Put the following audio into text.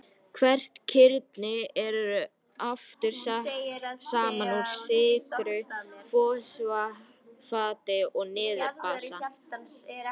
Hvert kirni er aftur sett saman úr sykru, fosfati og niturbasa.